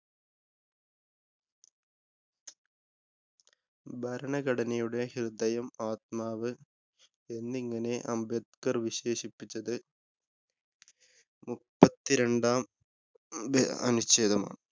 ഭരണഘടനയുടെ ഹൃദയം, ആത്മാവ് എന്നിങ്ങനെ അംബേദ്ക്കര്‍ വിശേഷിപ്പിച്ചത് മുപ്പത്തിരണ്ടാം ഭ അനുച്ഛേദമാണ്.